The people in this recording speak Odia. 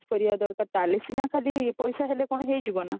କରିବା ଦରକାର ତାହେଲେ ସିନା ଖାଲି ପଇସା ହେଲେ କଣ ହେଇଯିବ ନା